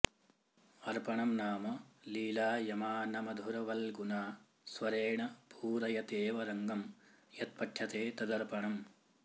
अर्पणं नाम लीलायमानमधुरवल्गुना स्वरेण पूरयतेव रङ्गं यत्पठ्यते तदर्पणम्